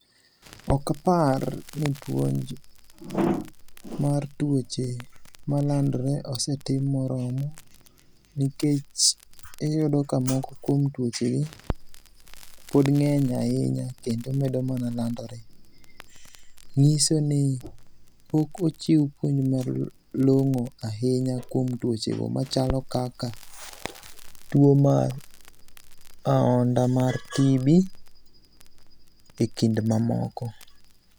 Okapar ni puonj mar tuoche malandore osetim moromo nikech iyudo ka moko kuom tuochegi pod ngeny ahinya kendo medo mana landore. Nyisoni pok ochiw puonj malong'o ahinya kuom tuochego machalo kaka tuo mar ahonda mar TB ekind mamoko